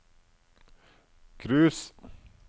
cruise